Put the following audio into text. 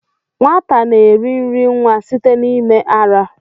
Nwata na-eri nri nwa site n'ime ara.